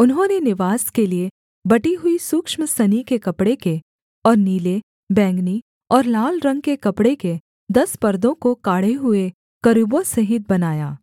उन्होंने निवास के लिये बटी हुई सूक्ष्म सनी के कपड़े के और नीले बैंगनी और लाल रंग के कपड़े के दस परदों को काढ़े हुए करूबों सहित बनाया